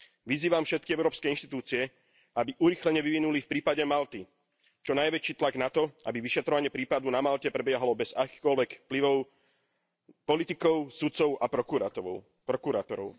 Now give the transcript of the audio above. Vyzývam všetky európske inštitúcie, aby urýchlene vyvinuli v prípade Malty čo najväčší tlak na to, aby vyšetrovanie prípadu na Malte prebiehalo bez akéhokoľvek vplyvu politikov, sudcov a prokurátorov.